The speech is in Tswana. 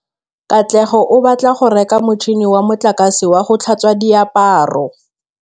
Katlego o batla go reka motšhine wa motlakase wa go tlhatswa diaparo.